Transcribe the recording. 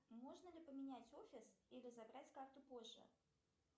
можно ли поменять офис или забрать карту позже